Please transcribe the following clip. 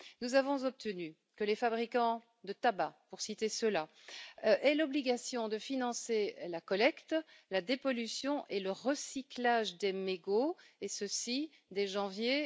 Nous avons obtenu que les fabricants de tabac aient l'obligation de financer la collecte, la dépollution et le recyclage des mégots, et ceci dès janvier